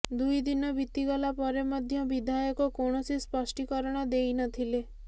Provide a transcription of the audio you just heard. ଦୁଇଦିନ ବିତିଗଲା ପରେ ମଧ୍ୟ ବିଧାୟକ କୌଣସି ସ୍ପଷ୍ଟୀକରଣ ଦେଇ ନଥିଲେ